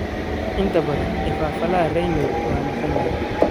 Inta badan, ifafaalaha Raynaud waa maqan yahay.